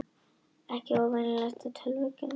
Ekki óvenjulegt að tölvukerfi bili